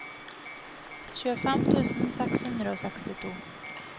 tjuefem tusen seks hundre og sekstito